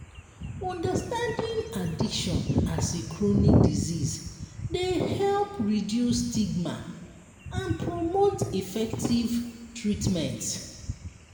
understanding addiction as a chronic disease dey help reduce stigma and promote effective treatment.